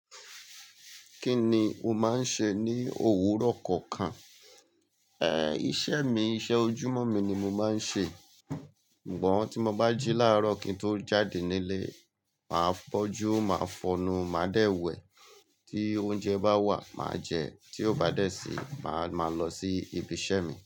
Kí ni o máa ń ṣe ní òwúrọ̀ kọ̀ọ̀kan? Ẹ iṣẹ́ mi, iṣẹ́ ojúmọ́ mi ni mo máa ń ṣe. Ṣùgbọ́n tí mo bá jí láàárọ̀ kí n tó jáde nílé, màá bọ́jú, màá fọnu, màá dẹ̀ wẹ̀. Tí oúnjẹ bá wà, màá jẹ. Tí ó bá dẹ̀ sí, màá máa lọ sí ibi iṣẹ́ mi.